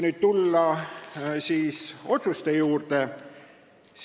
Nüüd tulen otsuste juurde.